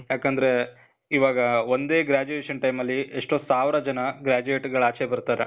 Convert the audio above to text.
ಯಾಕಂದ್ರೇ, ಇವಾಗ ಒಂದೇ graduation time ಅಲ್ಲಿ, ಎಷ್ಟೋ ಸಾವ್ರ ಜನ graduate ಗಳು ಆಚೆ ಬರ್ತಾರೆ.